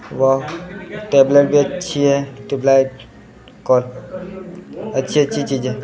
वह tube light भी अच्छी हैं ट्यूब लाइट अच्छी अच्छी चीज़े है।